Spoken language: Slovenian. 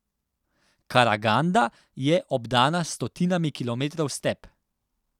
Karaganda je obdana s stotinami kilometrov step.